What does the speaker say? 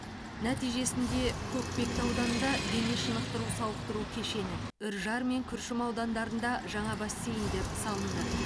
нәтижесінде көкпекті ауданында дене шынықтыру сауықтыру кешені үржар мен күршім аудандарында жаңа бассейндер салынды